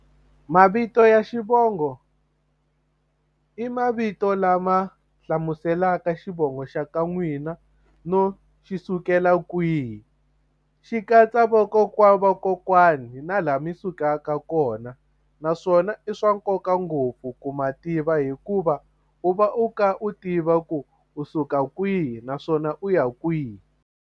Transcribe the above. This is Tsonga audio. Mavito ya xivongo i mavito lama hlamuselaka xivongo xa ka n'wina no xi sukela kwihi xi katsa vakokwana wa vakokwani na laha mi sukaka kona naswona i swa nkoka ngopfu ku ma tiva hikuva u va u kha u tiva ku u suka kwihi naswona u ya kwihi.